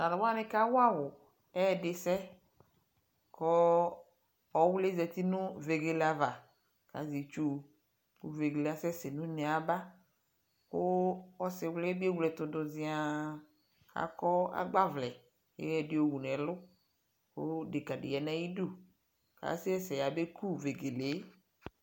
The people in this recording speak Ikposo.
aTa lu wane ka wa wo ɛdesɛ ko ɔwle zati no vegele ava ka zɛ itusuVegele asɛs no une aba ko ɔsewli be ewle ɛto do zianAkɔ agbavlɛ ko ayɔ de wu nɛlu ko ɛdeka de ya nayidu Asɛsɛ ya beku vegele